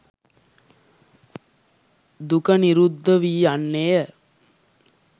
දුක නිරුද්ධ වී යන්නේ ය.